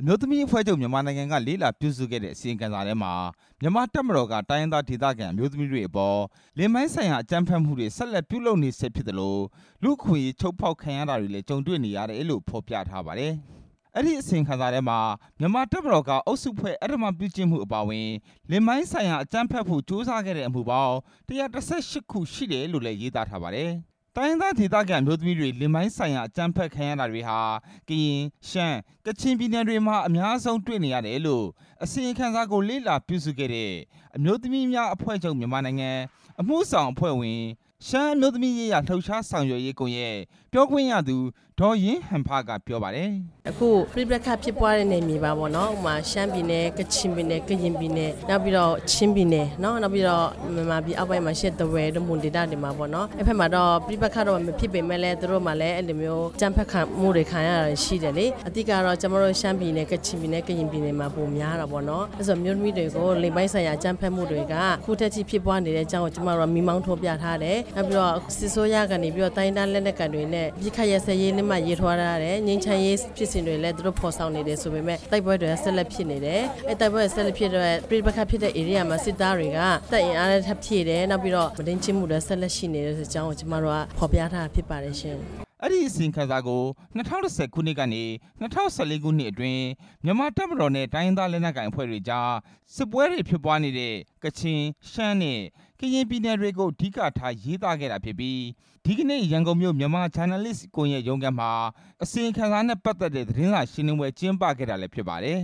အမျိုးသမီးများအဖွဲ့ချုပ် က လေ့လာပြုစုခဲ့တဲ့ အစီရင်ခံစာထဲမှာ မြန်မာ့တပ်မတော်က တိုင်းရင်းသားဒေ သခံ အမျိုးသမီးတွေအပေါ် လိင်ပိုင်းဆိုင်ရာအကြမ်းဘက်မှှုတွေ ဆက်လက်ပြု လုပ်နေဆဲဖြစ်သလို လူ့အခွင့်အရေး ချိုးဖောက်ခံရတာတွေ ကြုံတေ့ွနေရတယ်လို့ ဖော်ပြထားပါတယ်။ အဲ့ဒီ အစီရင်ခံစာထဲမှာ မြန်မာတပ်မတော်က အုပ်စုဖွဲ့အဓမ္မပြုကျင့်မှှုအပါအဝင် လိင်ပိုင်းဆိုင်ရာ အကြမ်းဖက်မှှု ကြိုးစားခဲ့အမှှုပေါင်း ၁၁၈ ခုရှိတယ်လို့လည်း ရေးသားထားပါတယ်၊ တိုင်းရင်းသားဒေသခံ အမျိုးသမီးတွေ လိင်ပိုင်းဆိုင်ရာ အကြမ်းဖက်ခံရတာတွေဟာ ကရင်၊ ရှမ်း၊ ကချင်ပြည်နယ်တွေမှာ အများဆုံးတွေ့နေရတယ်လို့ အစီရင်ခံစာကို လေ့လာပြုစုခဲ့တဲ့ အမျိုးသမီးများ အဖွဲ့ချုပ် အမှှုဆောင်အဖွဲ့ဝင် ရှမ်းအမျိုးသမီးရေးရာ လှှုပ်ရှားဆောင်ရွက်ရေးကွန်ရက် ပြောခွင့်ရသူ ဒေါ်ရေးဟန်ဖက ပြောပါတယ်။ "အခုပဋိပက္ခဖြစ်ပွားတဲ့ နယ်မြေမှာပေါ့နော် ဥပမာ ရှမ်းပြည်နယ်၊ ကချင်ပြည်နယ်၊ ကရင်ပြည်နယ် နောက်ပြီးတော့ ချင်းပြည်နယ် နောက်ပြီးတော့ မြန်မာပြည်အောက်ပိုင်းမှာရှိတဲ့ ထားဝယ်တို့ မွန်ဒေသတွေမှာပေါ့နော်၊ အဲ့ဘက် မှာတော့ ပဋိပက္ခတော့ မဖြစ်ပေမဲ့လည်း သူတို့မှာလည်း အဲ့လိုမျိုး အကြမ်းဖက်ခံရမှှုတွေ ခံရတာတွေရှိတယ်လေ၊ အဓိကကတော့ ကျမတို့ ရှမ်းပြည်နယ်၊ ကချင်ပြည်နယ်၊ ကရင်ပြည်နယ်မှာ ပိုများတာပေါ့နော်၊ အမျိုးသမီးတွေကို လိင်ပိုင်းဆိုင်ရာ အကြမ်းဖက်မှှုတွေက အခုထက်ထိဖြစ်ပွားနေတဲ့အကြောင်းကို ကျမတို့က မီးမောင်းထိုးပြထား တယ်၊ နောက်ပြီးတော့ စစ်အစိုးကနေပြီးတော့ တိုင်းရင်းသားလက်နက်ကိုင်တွေနဲ့ အပစ်အခတ်ရပ်စဲရေး လက်မှတ်ရေးထိုးထားတယ်၊ ငြိမ်းချမ်းရေးဖြစ်စဉ်တွေလည်း သူတို့ဖော်ဆောင်နေတယ်ဆိုပေမဲ့ တိုက်ပွဲတွေ ဆက်လက်ဖြစ်နေတယ်၊ အဲ့ဒီတိုက်ပွဲတွေ ဆက်လက်ဖြစ်နေတဲ့အတွက် ပဋိပက္ခဖြစ်တဲ့ဧရိယာမှာ စစ်သားတွေက တပ်အင်အားထပ်ဖြည့်တယ်၊ နောက်ပြီးတော့ မုဒိန်းကျင့်မှှုလည်း ဆက်လက်ရှိနေတယ် ဆိုတဲ့အကြောင်းကို ကျမတို့က ဖော်ပြထားတာ ဖြစ်ပါတယ်ရှင့်" အဲ့ဒီ အစီရင်ခံစာကို ၂ဝ၁ဝ ခုနှစ်ကနေ ၂ဝ၁၄ ခုနှစ်အတွင်း မြန်မာတပ်မတော်နဲ့ တိုင်းရင်းသား လက်နက်ကိုင် အဖွဲ့တွေအကြား စစ်ပွဲတွေအကြား ကချင်၊ ရှမ်းနဲ့ ကရင်ပြည်နယ်တွေကို အဓိကထား ရေးသားခဲ့တာဖြစ်ပြီး ဒီနေ့ ရန်ကုန်မြို့ မြန်မာဂျာနယ်လစ်ကွန်ရက်ရုံးခန်းမှာ အစီရင်ခံစာနဲ့ ပတ်သက်တဲ့ သတင်းစာရှင်းလင်းပွဲ ကျင်းပခဲ့ပါ တယ်၊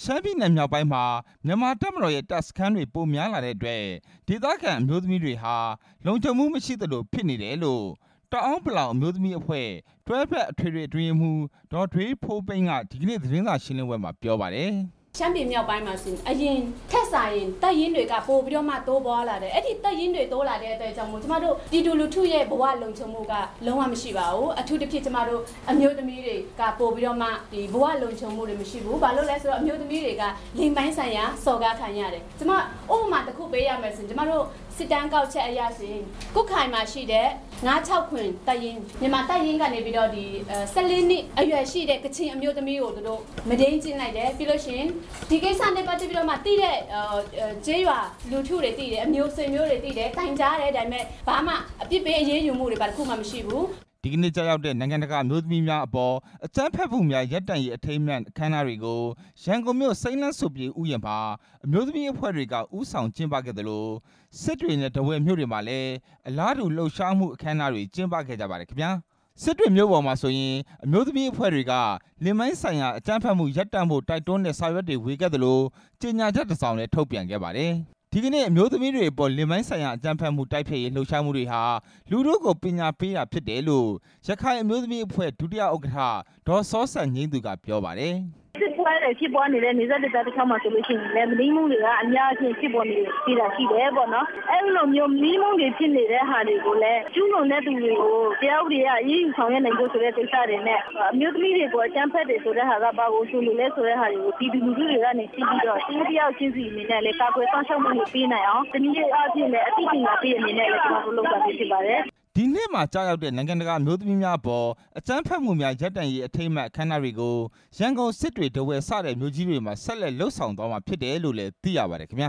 ရှမ်းပြည်နယ်မြောက်ပိုင်းမှာ မြန်မာတပ်မတော်ရဲ့ တပ်စခန်းတွေပိုများလာတဲ့အတွက် ဒေသခံ အမျိုးသမီးတွေဟာ လုံခြုံမှှုမရှိသလို ဖြစ်နေတယ်လို့ တအာင်းပလောင် အမျိုးသမီးအဖွဲ့ တွဲဖက်အထွေထွေ အတွင်းရေးမှူး ဒေါ်ဒွေးဖိုးပိန်းက ဒီနေ့ သတင်းစာရှင်းလင်းပွဲမှာ ပြောပါတယ်။ "ရှမ်းပြည်မြောက်ပိုင်းမှာဆိုရင် အရင်ထက်စာရင် တပ်ရင်းတွေပိုပြီးတော့ တိုးပွားလာတယ်၊ အဲ့ဒီတပ်ရင်းတွေ တိုးလာတဲ့အတွက်ကြောင့်မို့ ကျမတို့ ပြည်သူလူထုရဲ့ ဘဝလုံခြုံမှှုက လုံဝမရှိပါဘူး၊ အထူးသဖြင့် ကျမတို့ အမျိုးသမီးတွေက ပိုပြီးတော့မှ ဘဝလုံခြုံမှှုတွေမရှိဘူး၊ ဘာလို့လဲဆိုတော့ အမျိုးသမီးတွေက လိင်ပိုင်းဆိုင်ရာ စော် ကားခံရတယ်၊ ကျမ ဥပမာတစ်ခုပေးရမယ်ဆိုရင် ကျမတို့ စစ်တမ်းကောက်ချက်အရဆိုရင် ကွတ်ခိုင်မှာရှိတဲ့ ၅၆၇ တပ်ရင်း မြန်မာတပ်ရင်းကနေပြီးတော့ ၁၄ နှစ်အရွယ်ရှိတဲ့ ကချင်အမျိုးသမီးကို သူတို့မုဒိန်းကျင့်လိုက်တယ်၊ ပြီးလို့ရှိရင် ဒီကိစ္စနဲ့ ပတ်သက်ပြီးတော့မှ သိတဲ့ကျေးရွာလူထုတွေသိတယ်၊ ဆွေမျိုးတွေသိတယ်၊ တိုင်ကြားတယ် ဒါပေမဲ့ ဘာမှအပြစ်ပေး အရေးယူမှှုတွေ ဘာတစ်ခုမှမရှိဘူး" ဒီနေ့ကျရောက်တဲ့ နိုင်ငံတကာအမျိုးသမီးများအပေါ် အကြမ်းဖက်မှှုများ ရပ်တန့်ရေးအထိမ်းအမှတ် အခမ်းအနားတွေ ကို ရန်ကုန်မြို့ စိမ်းလမ်းစိုပြေဥယျာဉ်မှာ အမျိုးသမီးအဖွဲ့တွေက ဦးဆောင်ကျင်းပခဲ့သလို စစ်တွေနဲ့ ထားဝယ်မြို့တွေမှာလည်းအလားတူ လှှုပ်ရှားမှှုအခမ်းအနားတွေ ကျင်းပခဲ့ကြပါတယ်ခင်ဗျား၊ စစ်တွေမြို့ပေါ်မှာဆိုရင် အမျိုးသမီးအဖွဲ့တွေက လိင်ပိုင်းဆိုင်ရာ အကြမ်းဖက်မှှုရပ်တန့်ဖို့တိုက်တွန်းတဲ့ စာရွက်တွေဝေခဲ့သလို ကြေညာချက်တစ်စောင်လည်း ထုတ်ပြန်ခဲ့ပါတယ်၊ ဒီနေ့ အမျိုးသမီးတွေအပေါ် လိင်ပိုင်းဆိုင်ရာ အကြမ်းဖက်မှှုတိုက်ဖျက်ရေး လှှုပ်ရှားမှှုတွေဟာ လူထုကိုပညာပေးတာဖြစ်တယ်လို့ ရခိုင်အမျိုးသမီးအဖွဲ့ ဒုတိယဥက္ကဌ ဒေါ်စောစံငြိမ်းသူက ပြောပါတယ်။ "တိုက်ပွဲတွေဖြစ်ပွားနေတဲ့ နယ်စပ်ဒေသတလျှောက်မှာ ဆိုလို့ရှိရင်လည်း မုဒိန်းမှှုတွေက အများကြီးဖြစ်ပေါ်နေ တယ်ဆိုတာ ရှိတယ်ပေါ့၊ အဲ့ဒီလိုမျိုး မုဒိန်းမှှုတွေဖြစ်နေတဲ့ဟာတွေလည်း ကျူးလွန်တဲ့သူတွေကို တရားဥပဒေအရ အရေးယူဆောင်ရွက်နိုင်ဖို့ဆိုတဲ့ ကိစ္စတွေနဲ့အမျိုးသမီးတွေအပေါ် အကြမ်းဖက်တယ်ဆိုတဲ့ဟာက ဘာကိုဆိုလို လဲဆိုတဲ့ဟာကို ပြည်သူလူထုကနေသိပြီးတော့ တစ်ဦးတစ်ယောက်ချင်းစီအနေနဲ့လည်း ကာကွယ်စောင့်ရှောက် မှှုတွေ ပေးနိုင်အောင် တနည်းအားဖြင့်လည်း အသိပညာပေးတဲ့အနေနဲ့ ကျမတို့လုပ်တာဖြစ်ပါတယ်" ဒီနေ့မှာကျရောက်တဲ့ နိုင်ငံတကာ အမျိုးသမီးများအပေါ် အကြမ်းဖက်မှှုများ ရပ်တန့်ရေး အခမ်းအနားတွေကို ရန်ကုန်၊ စစ်တွေ၊ ထားဝယ် စတဲ့မြို့ကြီးတွေမှာ ဆက်လက်လုပ်ဆောင်သွားမှာ ဖြစ်တယ်လို့လည်းသိရပါတယ် ခင်ဗျာ